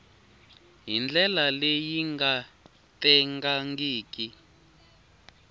hi ndlela leyi nga tengangiki